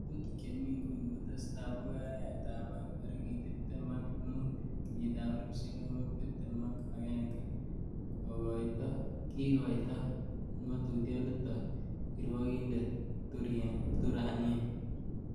'Ngatutik chmi inguni kotesetai bokoi arawetab oeng tarigit tibtem ak mut, kenyitab elfusiek oeng ak tibtem ak agenge,''kigoito ngotutionoton kirwokindet Thurania